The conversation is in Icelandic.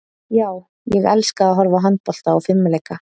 Já, ég elska að horfa á handbolta og fimleika.